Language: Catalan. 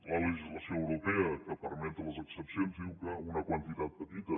la legislació europea que permet les excepcions diu que una quantitat petita